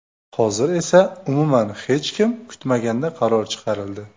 Hozir esa umuman hech kim kutmaganda qaror chiqarildi.